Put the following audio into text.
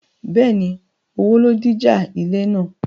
Bẹ́ẹ̀ni, owó ló díjà ilẹ̀ náà